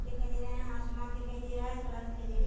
दिखाई दे रहा है आसमान दिखाई दे रहा है सड़क दिखाई दे रही --